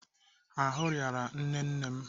Ahụ rịara nne nne m.